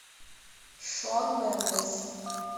шон мендес